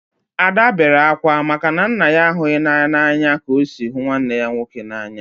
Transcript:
Ada bere akwa maka na nna ya ahụghị ya n'anya ka o si hụ nwanne ya nwoke n'anya